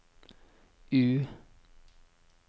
U